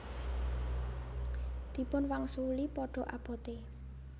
Dipun wangsuli Padha abote